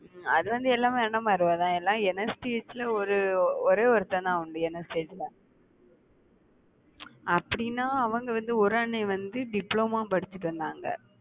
அது வந்து எல்லாமே அண்ணன் மாதிரி தான எல்லாம் ஒரு ஒரே ஒருத்தன்தான் உண்டு அப்படினா அவுங்க வந்து ஒரு அண்ணன் வந்து diploma படிச்சுட்டு வந்தாங்க